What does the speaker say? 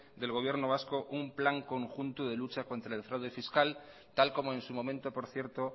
del gobierno vasco un plan conjunto de lucha contra el fraude fiscal tal como en su momento por cierto